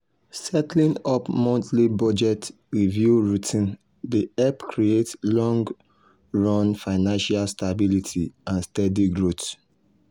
setting up monthly budget review routine dey help create long-run financial stability and steady growth.